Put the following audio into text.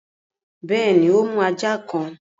Bẹ́ẹ̀ni, o mú ajá kan